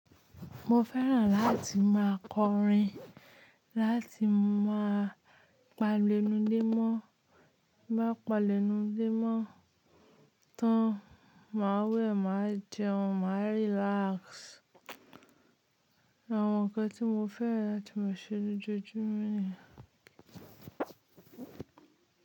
Mo fẹ́ràn láti máa kọrin, láti máa pa lénu dímọ́. Bí mo pa lénu dímọ́ tán, màá wẹ̀, màá jẹun, màá relax. Àwọn nǹkan tí mo fẹ́ràn láti máa ṣe lójoojúmọ́ ni.